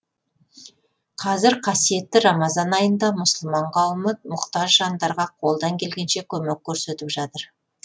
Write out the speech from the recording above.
қазір қасиетті рамазан айында мұсылман қауымы мұқтаж жандарға қолдан келгенше көмек көрсетіп жатыр